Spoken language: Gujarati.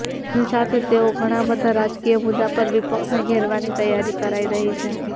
તેની સાથે જ તેઓ ઘણાબધા રાજકીય મુદ્દાઓ પર વિપક્ષને ઘેરવાની તૈયારી કરાઈ રહી છે